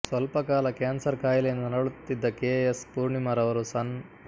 ಸ್ವಲ್ಪಕಾಲ cancer ಕಾಯಿಲೆಯಿಂದ ನರಳುತ್ತಿದ್ದ K S ಪೂರ್ಣಿಮಾರವರು ಸನ್